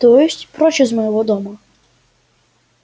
то есть прочь из моего дома